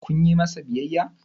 kun yi masa biyayya?